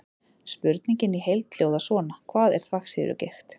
Spurningin í heild hljóðar svona: Hvað er þvagsýrugigt?